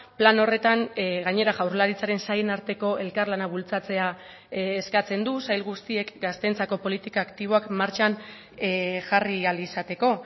plan horretan gainera jaurlaritzaren sailen arteko elkarlana bultzatzea eskatzen du sail guztiek gazteentzako politika aktiboak martxan jarri ahal izateko